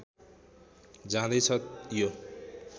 जाँदै छ यो